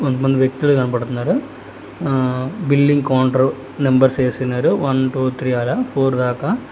కొంతమంది వ్యక్తిలు కనపడ్తున్నారు ఆ బిల్లింగ్ కౌంటర్ నంబర్స్ వేసున్నారు వన్ టు త్రి అల ఫోర్ దాకా.